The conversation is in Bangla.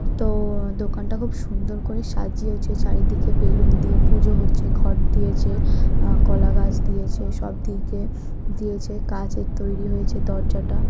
তো-ও দোকানটা খুব সুন্দর করে সাজিয়েছে। চারিদিকে বেলুন দিয়ে পুজো হচ্ছে ঘট দিয়েছে কলাগাছ দিয়েছে সব দিকে দিয়েছে। কাঁচের তৈরি হয়েছে দরজাটা ।